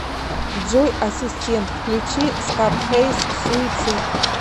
джой ассистент включи скарфейс суицид